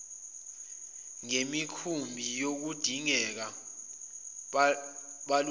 ngemikhumbi kuyodingeka balungise